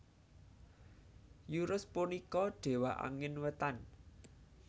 Euros punika dewa angin wétan